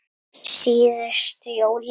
Síðustu jólin.